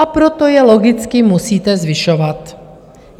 A proto je logicky musíte zvyšovat.